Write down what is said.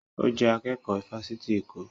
Ó jẹ́ akẹ́kọ̀ọ́ ifásitì Èkó